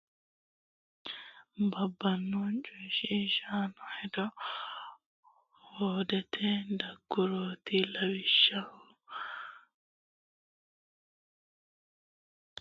Lawishsha gala woga hoga ama ela w k l Qoonqote duu rama yaa mittu qaali mimmito labbanno coyshiishamaano hoode hoodete daggurooti Lawishsha.